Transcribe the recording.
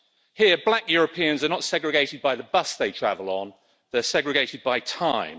Here, black Europeans are not segregated by the bus they travel on, they are segregated by time.